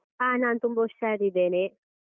ಹ ನಾನ್ ತುಂಬ ಹುಷಾರಿದ್ದೇನೆ.